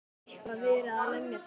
Hef ég eitthvað verið að lemja þig?